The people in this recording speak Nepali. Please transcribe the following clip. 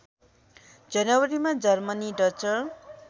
जनवरीमा जर्मनीमा डचर